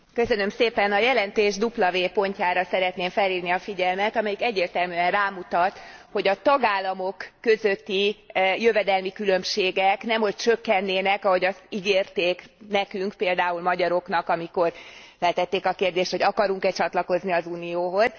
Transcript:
Elnök asszony, a jelentés w pontjára szeretném felhívni a figyelmet, amelyik egyértelműen rámutat, hogy a tagállamok közötti jövedelmi különbségek nemhogy csökkennének, ahogy azt ígérték nekünk például magyaroknak, amikor feltették a kérdést, hogy akarunk e csatlakozni az Unióhoz.